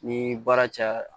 Ni baara cayara